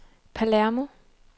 Palermo